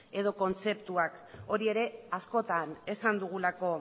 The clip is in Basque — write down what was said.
edo kontzeptuak hori ere askotan esan dugulako